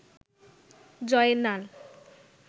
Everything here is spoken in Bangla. জয়নাল